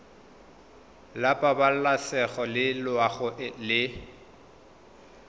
la pabalesego le loago e